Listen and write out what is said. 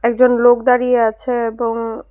একজন লোক দাঁড়িয়ে আছে এবং--